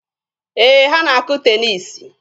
Ee, ha na-akụ teniisi.